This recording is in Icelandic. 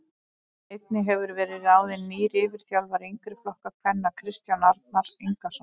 Einnig hefur verið ráðin nýr yfirþjálfari yngri flokka kvenna Kristján Arnar Ingason.